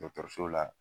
Dɔkɔtɔrɔso la